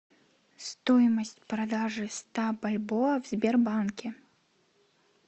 стоимость продажи ста бальбоа в сбербанке